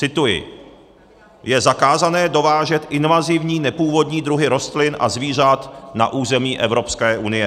Cituji: "Je zakázáno dovážet invazivní nepůvodní druhy rostlin a zvířat na území Evropské unie.